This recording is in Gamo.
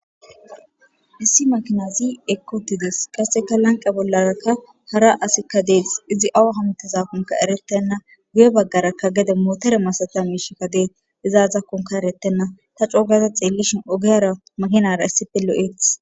Issi makina zii ekkotides qasseka lanqa bollaraka hara asikka deesh izi awa hamtezakkonka eretenna guye baggaraka gede mootere masataa miishikka dee izaazakkonka erettenna ta coogaza xeellishin ogiyara makinara issipelo'eeth.